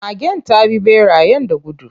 Magen ta bi ɓerayen da gudu.